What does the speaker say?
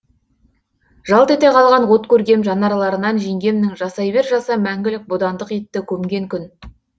жалт ете қалған от көргем жанарларынан жеңгемнің жасай бер жаса мәңгілік бодандық итті көмген күн